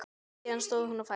Síðan stóð hún á fætur.